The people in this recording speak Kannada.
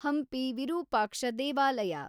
ಹಂಪಿ ವಿರೂಪಾಕ್ಷ ದೇವಾಲಯ